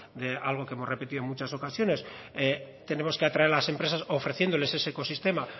de algo que hemos repetido en muchas ocasiones tenemos que atraer a las empresas ofreciéndoles ese ecosistema